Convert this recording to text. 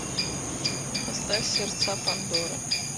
поставь сердца пандоры